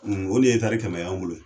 o de ye kɛmɛ y'an bolo yen.